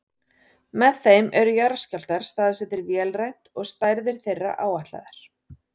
Með þeim eru jarðskjálftar staðsettir vélrænt og stærðir þeirra áætlaðar.